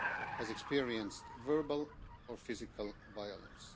has experienced verbal or physical violence.